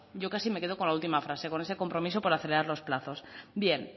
yo casi me quedo con la última frase con ese compromiso por acelerar los plazos bien